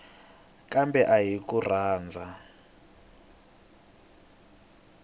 kambe a hi ku rhandza